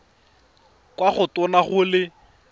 kwa go tona go le